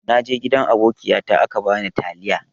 Naje gidan abokiyata aka bani taliya.